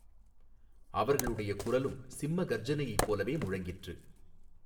அவர்களுடைய குரலும் சிம்ம கர்ஜனையைப் போலவே முழங்கிற்று.